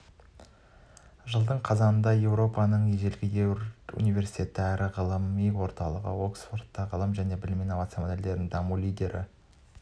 жылдың қазанында еуропаның ежелгі университеті әрі ғылыми орталығы оксфордта ғылым және білім инновациялық модельдер дамуы лидерлер